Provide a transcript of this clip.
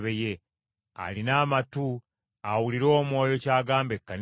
Alina amatu awulire Omwoyo ky’agamba Ekkanisa ezo.”